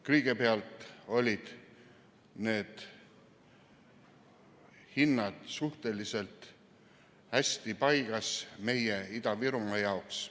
Kõigepealt olid need hinnad meie Ida-Virumaa jaoks suhteliselt hästi paigas.